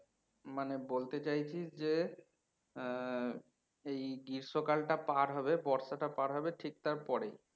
মানে বলতে চাইছিস যে হম এই গ্রীস্মকালটা পার হবে বর্ষাটা পার হবে ঠিক তার পরেই